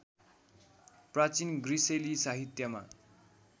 प्राचीन ग्रिसेली साहित्यमा